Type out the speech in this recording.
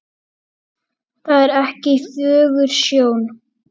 Það er ekki fögur sjón.